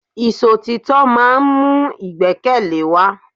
Ìṣọ̀títọ́ máà ń mú ìgbẹ́kẹ̀lé wa.